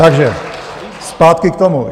Takže zpátky k tomu.